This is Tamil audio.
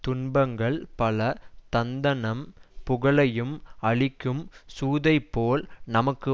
துன்பங்கள் பல தந்தநம் புகழையும் அழிக்கும் சூதைப் போல் நமக்கு